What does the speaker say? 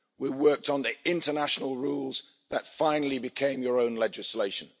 We worked on the international rules that finally became your own legislation.